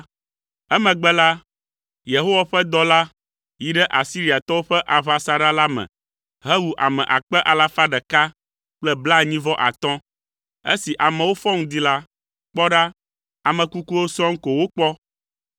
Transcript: Emegbe la, Yehowa ƒe dɔla yi ɖe Asiriatɔwo ƒe aʋasaɖa la me hewu ame akpe alafa ɖeka kple blaenyi-vɔ-atɔ̃. Esi amewo fɔ ŋdi la, kpɔ ɖa, ame kukuwo sɔŋ ko wokpɔ.